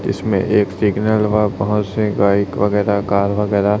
इसमें एक सिग्नल व बहोत से बाइक वगरह कार वगरह--